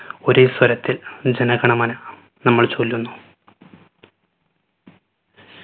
ഒരേ സ്വരത്തിൽ ജനഗണമന നമ്മൾ ചൊല്ലുന്നു.